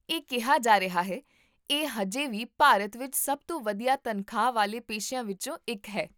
ਇਹ ਕਿਹਾ ਜਾ ਰਿਹਾ ਹੈ, ਇਹ ਅਜੇ ਵੀ ਭਾਰਤ ਵਿੱਚ ਸਭ ਤੋਂ ਵਧੀਆ ਤਨਖਾਹ ਵਾਲੇ ਪੇਸ਼ਿਆਂ ਵਿੱਚੋਂ ਇੱਕ ਹੈ